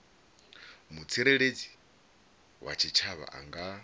mutsireledzi wa tshitshavha a nga